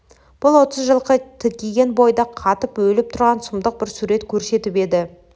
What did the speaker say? бұл отыз жылқы тікиген бойда қатып өліп тұрған сұмдық бір сурет көрсетіп еді